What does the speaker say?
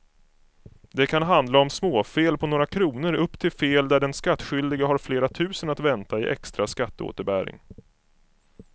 Det kan handla om småfel på några kronor upp till fel där den skattskyldige har flera tusen att vänta i extra skatteåterbäring.